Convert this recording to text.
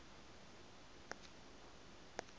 p tr extinction